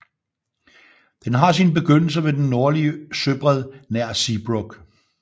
Den har sin begyndelse ved den nordlige søbred nær Seebruck